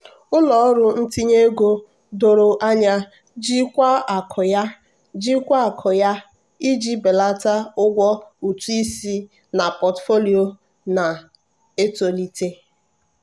ndị otu ụlọ ọrụ na-ere ahịa ekenyela $750000 iji malite mkpọsa ngwaahịa ọhụrụ a na mba niile.